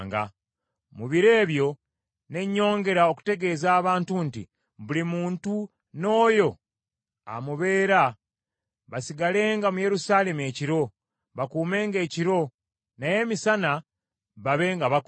Mu biro ebyo, ne nnyongera okutegeeza abantu nti, “Buli muntu n’oyo amubeera, basigalenga mu Yerusaalemi ekiro, bakuumenga ekiro, naye emisana babe nga bakola.”